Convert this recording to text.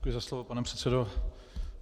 Děkuji za slovo, pane předsedo.